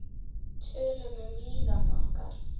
Tölum um líðan okkar.